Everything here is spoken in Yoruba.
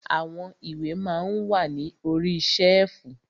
Àwọn ìwé ma ń wà ní orí ṣẹ́ẹ̀fù.